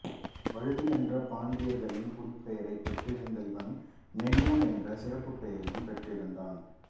வழுதி என்ற பாண்டியர்களின் குடிப்பெயரையும் பெற்றிருந்த இவன் நெடியோன் என்ற சிறப்புப்பெயரையும் பெற்றிருந்தான்